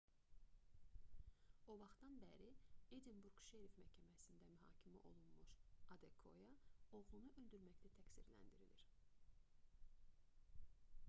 o vaxtdan bəri edinburq şeriff məhkəməsində mühakimə olunmuş adekoya oğlunu öldürməkdə təqsirləndirilir